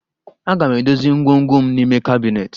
Aga m edozi ngwongwo m n'ime kabinet